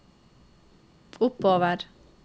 oppover